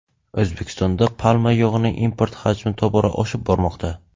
O‘zbekistonda palma yog‘ining import hajmi tobora oshib bormoqda.